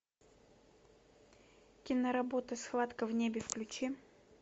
киноработа схватка в небе включи